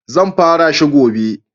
Zan fara shi gobe.